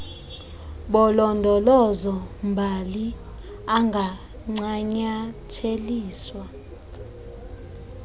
bolondolozo mbali angancanyatheliswa